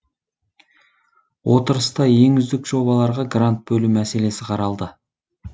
отырыста ең үздік жобаларға грант бөлу мәселесі қаралды